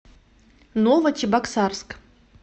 новочебоксарск